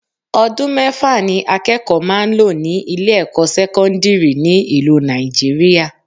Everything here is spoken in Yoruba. Odun mẹ́fà ni akẹ́kọ̀ọ́ máa ń lò ní ilé ẹ̀kọ́ sẹ́kọ́ndírì ní ìlú Nàìjíríà